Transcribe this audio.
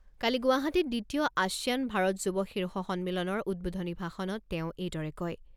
কালি গুৱাহাটীত দ্বিতীয় আছিয়ান ভাৰত যুৱ শীৰ্ষ সন্মিলনৰ উদ্বোধনী ভাষণত তেওঁ এইদৰে কয়।